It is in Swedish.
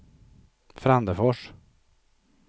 Frändefors